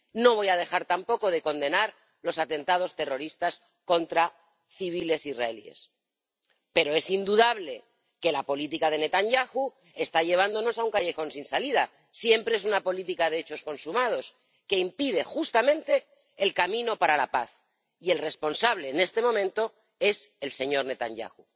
No voy a dejar tampoco de condenar los atentados terroristas contra civiles israelíes, pero es indudable que la política de Netanyahu está llevándonos a un callejón sin salida siempre es una política de hechos consumados que impide justamente el camino para la paz, y el responsable en este momento es el señor Netanyahu.